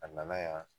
A nana yan